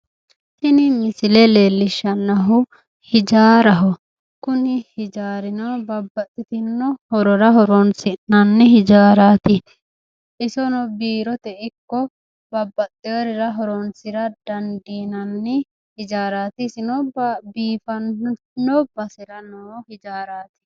Tini misile leellishshannohu hijaaraho, kuni hijaarino babbaxxitino horora horonsi'nanni hijaaraaraati, isono biirote ikko babbaxxeworira horonsira dandiinanni hijaaraati isino biifanno basera no hijaaraati.